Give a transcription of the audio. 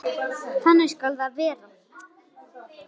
Þannig skal það verða.